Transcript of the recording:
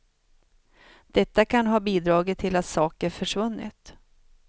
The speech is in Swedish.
Detta kan ha bidragit till att saker försvunnit.